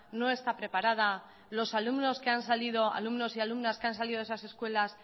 no está preparada los alumnos que han salido alumnos y alumnas que han salido de esas escuelas